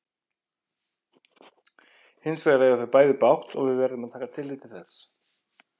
Hins vegar eiga þau bæði bágt og við verðum að taka tillit til þess.